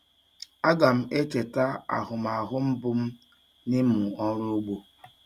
Aga m echeta ahụmahụ mbụ m n'ịmụ ọrụ ugbo.